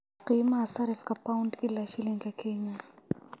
qiimaha sarrifka pound ilaa shilinka Kenya